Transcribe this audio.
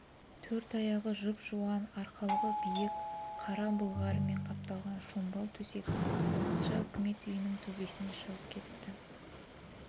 төрт аяғы жұп-жуан арқалығы биік қара былғарымен қапталған шомбал төсек уақытша үкімет үйінің төбесіне шығып кетіпті